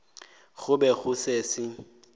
go be go se se